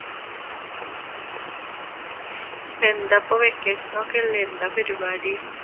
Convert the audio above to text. എന്താപ്പൊ vacation ഒക്കെ അല്ലെ എന്താ പരിപാടി?